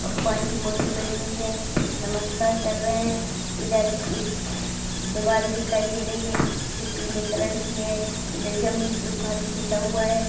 भगवान की मूर्ति बनी हुई है नमस्कार कर रहे हैं | इधर एक दीवार दिखाई दे रही है जो पीले कलर की है | इधर जमीन पे फर्श बिछा हुआ है।